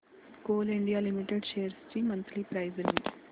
Coal India limited shares ची monthly price range